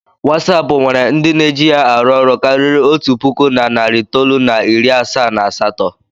Watsap nwere ndị na-eji ya arụ ọrụ karịrị otu puku na narị itoolu na iri asaa na asatọ.